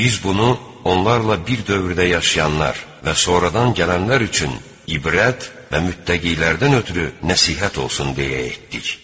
Biz bunu onlarla bir dövrdə yaşayanlar və sonradan gələnlər üçün ibrət və mütləqilərdən ötrü nəsihət olsun deyə etdik.